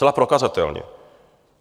Zcela prokazatelně.